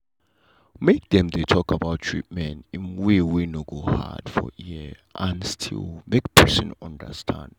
make dem dey talk about treatment in way wey no go hard for ear and still make person understand.